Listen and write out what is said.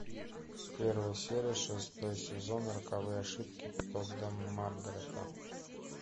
первая серия шестой сезон роковые ошибки тодда маргарета